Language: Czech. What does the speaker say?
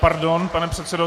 Pardon, pane předsedo.